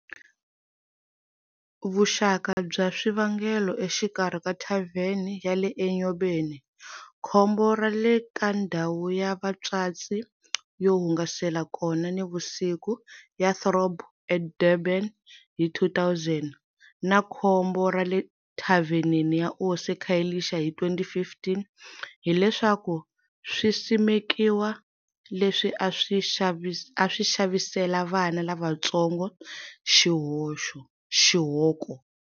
Vuxaka bya swivangelo exikarhi ka thavene ya le Enyobeni, khombo ra le ka ndhawu ya vatswatsi yo hungasela kona nivusiku ya Throb eDurban hi 2000, na khombo ra le thavenini ya Osi eKhayelitsha hi 2015, hileswaku swisimekiwa leswi a swi xavisela vana lavantsongo xihoxo.